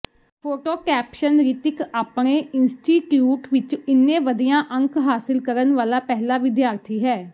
photo caption Ritik ਆਪਣੇ institute ਵਿੱਚ ਇੰਨੇ ਵਧੀਆਂ ਅੰਕ ਹਾਸਿਲ ਕਰਨ ਵਾਲਾ ਪਹਿਲਾ ਵਿਦਿਆਰਥੀ ਹੈ